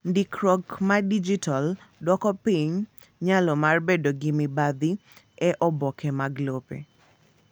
Ndikruok ma dijitall dwoko piny nyalo mar bedo gi mibathi e oboke mag lope.